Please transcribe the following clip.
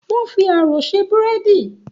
Wọ́n fi ààrò ṣe búrẹ́dì